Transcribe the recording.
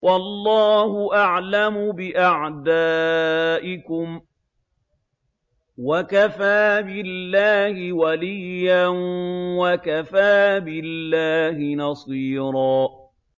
وَاللَّهُ أَعْلَمُ بِأَعْدَائِكُمْ ۚ وَكَفَىٰ بِاللَّهِ وَلِيًّا وَكَفَىٰ بِاللَّهِ نَصِيرًا